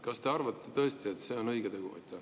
Kas te arvate tõesti, et see on õige tegu?